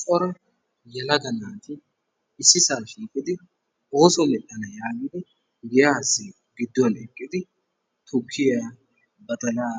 cora yelaga naati issisaa shiiqidi ooso medhana giidi badalaa,